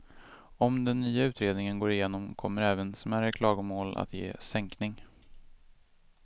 Om den nya utredningen går igenom kommer även smärre klagomål att ge sänkning.